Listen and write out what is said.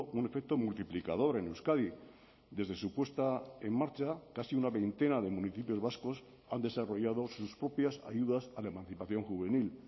un efecto multiplicador en euskadi desde su puesta en marcha casi una veintena de municipios vascos han desarrollado sus propias ayudas a la emancipación juvenil